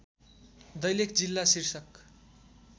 दैलेख जिल्ला शीर्षक